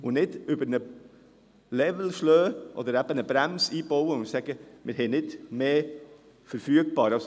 Dies ohne dabei über einen Level zu gehen oder eine Bremse einzubauen und zu sagen, dass wir nicht mehr verfügbar haben.